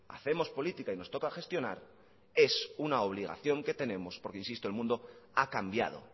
hacemos política y nos toca gestionar es una obligación que tenemos porque insisto el mundo ha cambiado